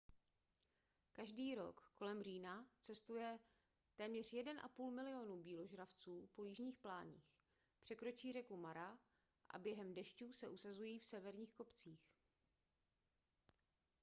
každý rok kolem října cestuje téměř 1,5 milionu býložravců po jižních pláních překročí řeku mara a během dešťů se usazují v severních kopcích